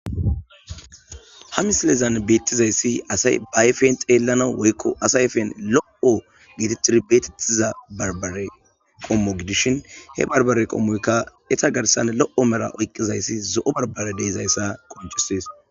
Ha missilezan betizayisi asayi ba ayiffen xellanas woyikko asa ayifen lo'o getetiza barbare qommo giddishin he barbare qommoyikka eta garsan lo'o mella oyiqqizayisi zo'o barbare de'izayissa qonccises.